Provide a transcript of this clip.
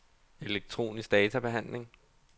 elektronisk databehandling